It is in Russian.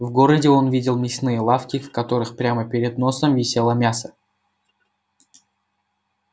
в городе он видел мясные лавки в которых прямо перед носом висело мясо